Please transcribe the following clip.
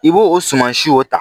I b'o suman si o ta